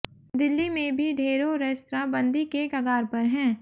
दिल्ली में भी ढेरों रेस्तरां बंदी के कगार पर हैं